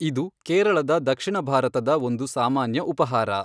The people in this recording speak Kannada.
ಇದು ಕೇರಳದ ದಕ್ಷಿಣ ಭಾರತದ ಒಂದು ಸಾಮಾನ್ಯ ಉಪಹಾರ.